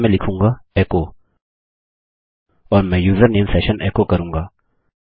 यहाँ मैं लिखूँगा एचो और मैं यूजरनेम सेशन एको करूँगा